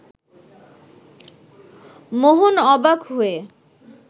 মোহন অবাক হয়ে